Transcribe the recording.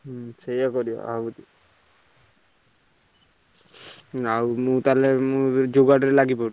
ହଁ ସେଇଆ କରିଆ ଆଉ ଆଉ ମୁଁ ତାହେଲେ ମୁଁ ଯୋଗାଡ଼ ରେ ଲାଗିପଡୁଛି।